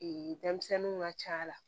denmisɛnninw ka ca la